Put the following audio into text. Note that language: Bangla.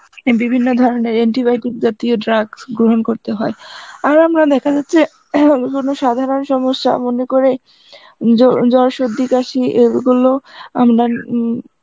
বিভিন্ন ধরনের antibiotic জাতীয় drugs গ্রহণ করতে হয়, আর আমরা দেখা যাচ্ছে, কোনো সাধারণ সমস্যা মনে করে জ~ জ্বর সর্দি কাসি এগুলো আমরা উম